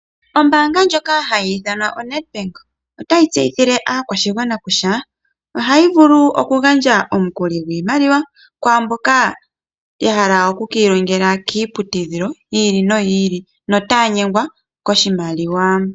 Ombaanga ndjoka hayi ithanwa oNedbank otayi tseyithile aakwashigwana kutya ohayi vulu okugandja omukuli gwiimaliwa kwaamboka ya hala oku ka ilonga kiiputudhilo yi ili noyi ili notaya nyengwa koshimaliwa.